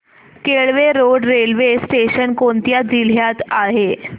Kelve road railway station कोणत्या जिल्ह्यात आहे